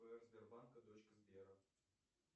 сбербанка дочка сбера